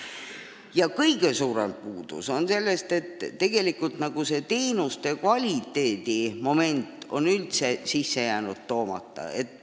Aga kõige suurem puudus on see, et tegelikult teenuste kvaliteedi moment on üldse jäänud kajastamata.